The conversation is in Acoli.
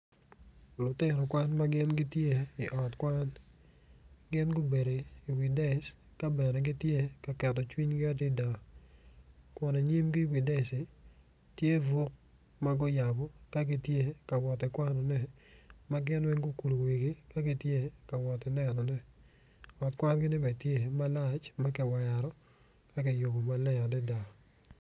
Lutino kwan ma gitye i ot kwan gin gubedo i wi dec kun inyimgi i wi decci tye fuk ma guyabu ka gitye ka woti kwanone ma gin weny gukulu wigi ka giwotti nenone ot kwangine bene tye malac ma kiwero ka giyubu maleng adida